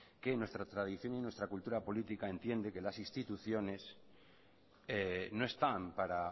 que nuestra tradición y nuestra cultura política entiende que las instituciones no están para